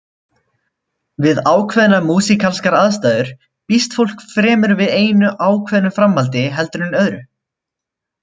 Við ákveðnar músíkalskar aðstæður býst fólk fremur við einu ákveðnu framhaldi heldur en öðru.